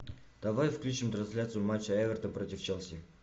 давай включим трансляцию матча эвертон против челси